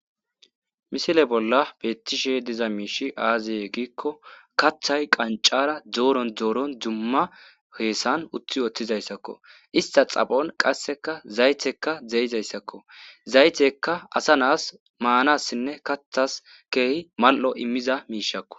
Misile bolla beettishe diza miishshi aaze giikko kaththay qanccara dooron dooron dumma heesan utti oththizayssakko ista xaphon qasseka zaytekka zeeizayssakko zaytekka asa naas maanassinne kaththas keehi mal'o immiza miishakko.